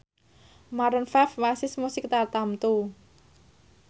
Maroon 5 wasis musik tartamtu